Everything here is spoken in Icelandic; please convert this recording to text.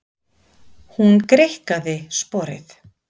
Hún greikkaði sporið.